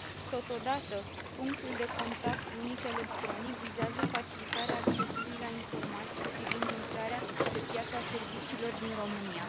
Totodată, punctul de contact unic electronic vizează facilitarea accesului la informații privind intrarea pe piața serviciilor din România.